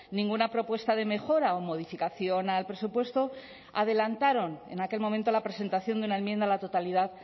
ninguna propuesta de mejora o modificación al presupuesto adelantaron en aquel momento la presentación de una enmienda a la totalidad